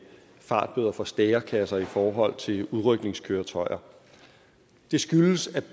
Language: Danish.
fartbøder fra stærekasser i forhold til udrykningskøretøjer det skyldes at